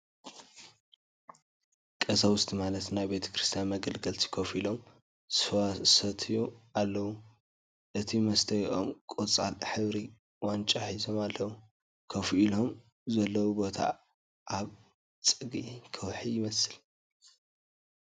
ቐሳውስቲ ማለት ናይ ቤተ-ክርስትያን መገልገልቲ ኮፍ ኢሎም ስዋ ሰትዩ ኣለዉ እቲ መስተይኦም ቖፃል ሕፍሪ ዋንጫ ሒዞም ኣለዉ ። ኮፍ ኢሎሞ ዘለዉ ቦታ ኣብ ፀግዒ ከውሒ ይመስል ።